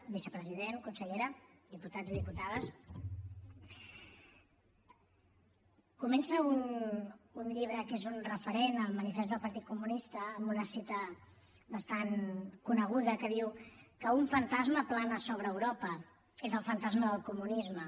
vicepresident consellera diputats i diputades comença un llibre que és un referent el manifest del partit comunista amb una cita bastant coneguda que diu que un fantasma plana sobre europa és el fantasma del comunisme